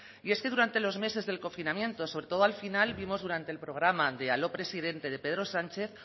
y es que durante los meses del confinamiento sobre todo al final vimos durante el programa de aló presidente de pedro sánchez